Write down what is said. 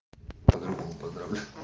по-другому поздравля